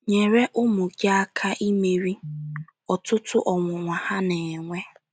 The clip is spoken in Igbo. Nyere Ụmụ Gị Aka Imeri Ọtụtụ Ọnwụnwa Ha Na - enwe